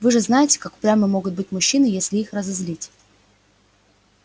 вы же знаете как упрямы могут быть мужчины если их разозлить